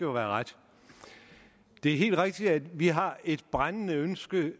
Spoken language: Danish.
ret det er helt rigtigt at vi har et brændende ønske